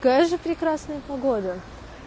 какая же прекрасная погода